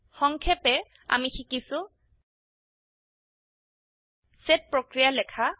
সংক্ষেপে আমি শিকিছো সেট প্রক্রিয়া লেখা